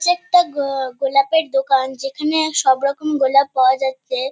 যে একটা ঘড় গোলাপের দোকান। যেখানে সব রকম গোলাপ পাওয়া যাচ্ছে।